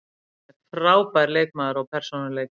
Hann er frábær leikmaður og persónuleiki.